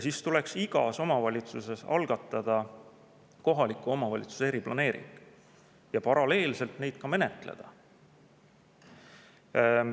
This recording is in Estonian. Seega tuleks igas omavalitsuses algatada kohaliku omavalitsuse eriplaneering ja paralleelselt neid menetleda.